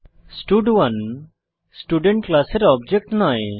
স্টাড1 student ক্লাসের object নয়